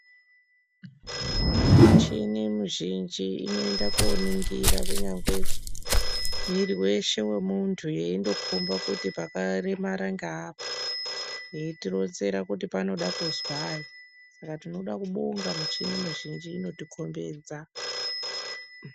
Muchini muzhinji inoinda kuoningira kunyangwe mwiiri weshe wemuntu. Yeindokomba kuti pakaremara ngeapa, yeitironzera kuti panoda kuzwai. Saka tinode kubonga michini mizhinji inotikombidza.